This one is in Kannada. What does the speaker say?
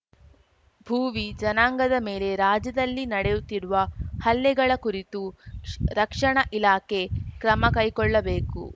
ಭೂವಿ ಜನಾಂಗದ ಮೇಲೆ ರಾಜ್ಯದಲ್ಲಿ ನಡೆಯುತ್ತಿರುವ ಹಲ್ಲೆಗಳ ಕುರಿತು ಶ್ ರಕ್ಷಣಾ ಇಲಾಖೆ ಕ್ರಮಕೈಕೊಳ್ಳಬೇಕು